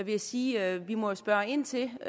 jeg sige at vi jo må spørge ind til